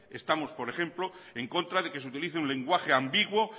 estamos por ejemplo en contra de que se utilice un lenguaje ambiguo